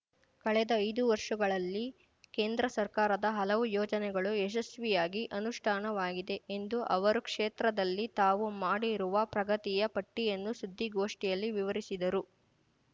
ಕಳೆದ ಐದು ವರ್ಷಗಳಲ್ಲಿ ಕೇಂದ್ರ ಸರ್ಕಾರದ ಹಲವು ಯೋಜನೆಗಳು ಯಶಸ್ವಿಯಾಗಿ ಅನುಷ್ಠಾನವಾಗಿದೆ ಎಂದು ಅವರು ಕ್ಷೇತ್ರದಲ್ಲಿ ತಾವು ಮಾಡಿರುವ ಪ್ರಗತಿಯ ಪಟ್ಟಿಯನ್ನು ಸುದ್ದಿಗೋಷ್ಠಿಯಲ್ಲಿ ವಿವರಿಸಿದರು